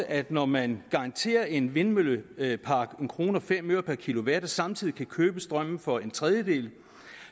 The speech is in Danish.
at når man garanterer en vindmøllepark en kroner per kilowatt og samtidig kan købe strømmen for en tredjedel